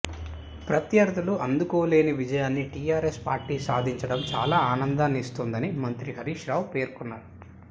ప్రత్యర్థులు అందుకోలేని విజయాన్ని టీఆర్ఎస్ పార్టీ సాధించడం చాలా ఆనందాన్నిస్తోందని మంత్రి హరీష్ రావు పేర్కొన్నారు